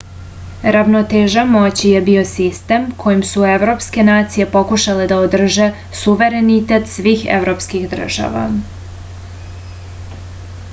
ravnoteža moći je bio sistem kojim su evropske nacije pokušale da održe suverenitet svih evropskih država